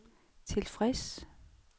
tilfreds